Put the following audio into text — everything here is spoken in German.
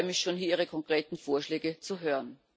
Ich freue mich schon, Ihre konkreten Vorschläge zu hören.